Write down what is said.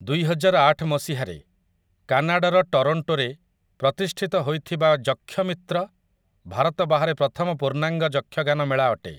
ଦୁଇହଜାରଆଠ ମସିହାରେ, କାନାଡାର ଟରଣ୍ଟୋରେ ପ୍ରତିଷ୍ଠିତ ହୋଇଥିବା ଯକ୍ଷମିତ୍ର, ଭାରତ ବାହାରେ ପ୍ରଥମ ପୂର୍ଣ୍ଣାଙ୍ଗ ଯକ୍ଷଗାନ ମେଳା ଅଟେ ।